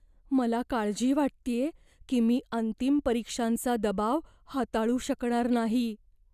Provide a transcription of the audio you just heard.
मला काळजी वाटतेय की मी अंतिम परीक्षांचा दबाव हाताळू शकणार नाही.